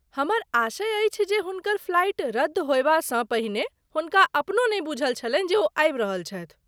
हमर आशय अछि जे हुनकर फ्लाइट रद्द होयबासँ पहिने हुनका अपनो नहि बुझल छलनि जे ओ आबि रहल छथि।